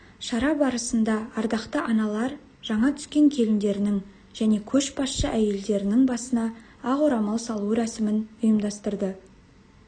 шара барысында ардақты аналар жаңа түскен келіндерінің және көшбасшы әйелдердің басына ақ орамал салу рәсімін ұйымдастырды